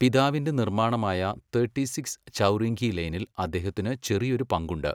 പിതാവിന്റെ നിർമ്മാണമായ തേട്ടിസിക്സ് ചൗറിംഗ്ഗീ ലെയ്നിൽ അദ്ദേഹത്തിന് ചെറിയൊരു പങ്കുണ്ട്.